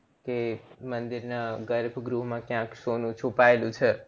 કે મંદિર ના ગર્ભ ગૃહ માં ક્યાંક સોનું છુપાયેલું છે